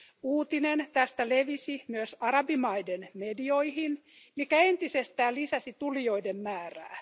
Uutinen tästä levisi myös arabimaiden medioihin, mikä entisestään lisäsi tulijoiden määrää.